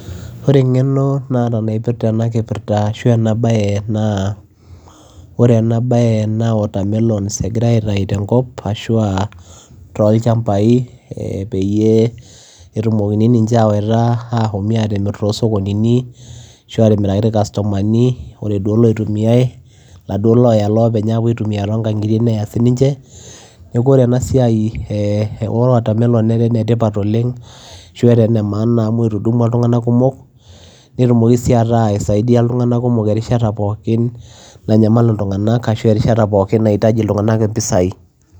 Oree engeno naata napirta ena bayee naa watermelon agirae aitayuu tenkop ashua tolchambai peyiee epuoi amirr too sokonini ashua atimirakii irkastomani netii sii iloitumiyai tiang neeku oree enaa siai netaa ene tipat oleng amuu etudumua ilntunganak kumok nisaidia sii erishata niyieu ilntunganak mpisai